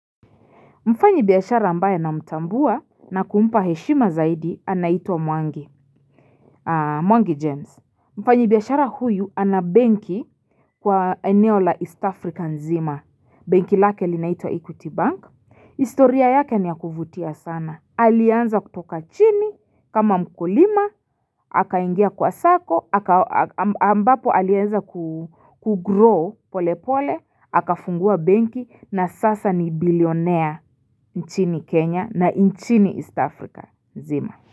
Mfanyibiashara ambaye namtambua na kumpa heshima zaidi anaitwa Mwangi, Mwangi James. Mfanyibiashara huyu ana benki kwa eneo la East African nzima. Benki lake linaitwa Equity bank. Historia yake ni ya kuvutia sana. Alianza kutoka chini kama mkulima. Akaingia kwa sacco. Ambapo alianza kugrow pole pole. Akafungua benki na sasa ni billionaire nchini Kenya na nchini East Africa nzima.